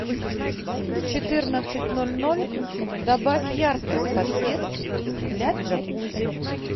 в четырнадцать ноль ноль добавь яркость подсветки для джакузи